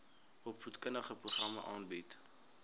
opvoedkundige programme aanbied